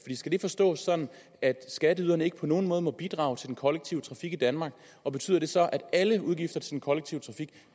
skal det forstås sådan at skatteyderne ikke på nogen måde må bidrage til den kollektive trafik i danmark og betyder det så at alle udgifter til den kollektive trafik